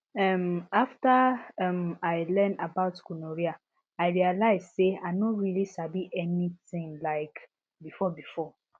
um after um i learn about gonorrhea i realize say i no really sabi anything um before before